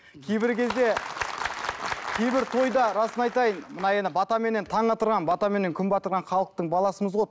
кейбір кезде кейбір тойда расын айтайын мына енді батаменен таң атырған батаменен күн батырған халықтың баласымыз ғой